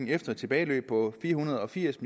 efter et tilbageløb på fire hundrede og firs